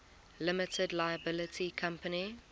limited liability company